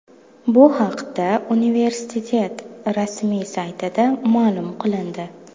Bu haqda universitet rasmiy saytida ma’lum qilindi .